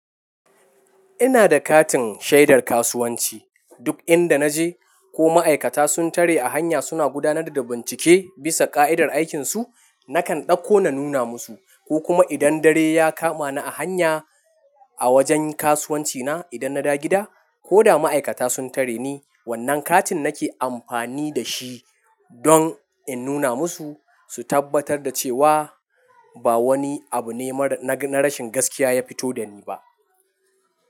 Ina da katin shaidar kasuwanci. Duk inda na je ko ma'aikata sun tare a hanya suna gudanar da bincike bisa ƙa'idar aikinsu, nakan ɗauko na nuna musu. Ko kuma idan dare ya kama ni a hanya a wajen kasuwancina idan na da gida, ko da ma'aikata sun tare ni, wannan katin nake amfani da shi don in nuna musu su tabbatar da cewa ba wani abu ne na rashin gaskiya ya fito da ni ba.